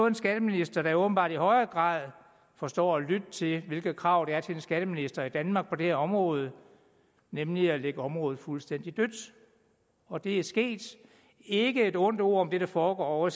en skatteminister der åbenbart i højere grad forstår at lytte til hvilke krav der er til en skatteminister i danmark på det her område nemlig at lægge området fuldstændig dødt og det er sket ikke et ondt ord om det der foregår ovre